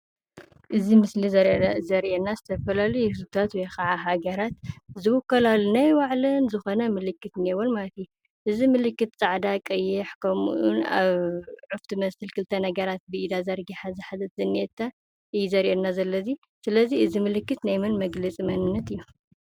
እዚ ምስሊ ዘርእየና ዝተፈላላዩ ህዝቢታት ውይ ከዓ ሃገራት ዝውከላሉ ናይ ባዕለን ዝኾና ምልክት እንሄወን ማለት እዩ። እዚ ምልክት ፃዕዳ፣ ቀይሕ ከምኡ እውን ኣብ ዑፍ ትመስል ብክልተ ነገራት ዝሓዘት እዩ ዘርኤና ዘሎ እዚ። ስለ እዚ እዚ ምልክት ናይ መን መግለፂ መንንት እዩ።